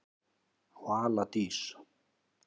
Vala Dís.